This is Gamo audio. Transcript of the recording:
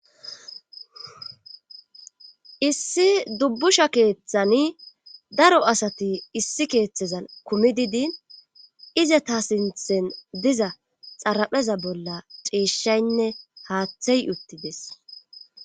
Issi dubbusha keeththani daro asati issi keeththezan kumidi diin ize ta sinthen diza xarapheza bolla ciishaynne haaththey uttides.